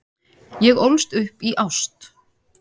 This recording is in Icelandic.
Ég ólst upp í ást.